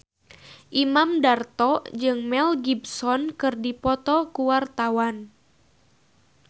Imam Darto jeung Mel Gibson keur dipoto ku wartawan